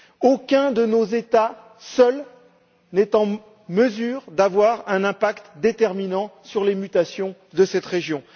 Aucun de nos États, seul, n'est en mesure d'avoir un impact déterminant sur les mutations de cette région.